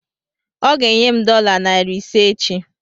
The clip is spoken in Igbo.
Ọ ga enye m dọla narị ise echi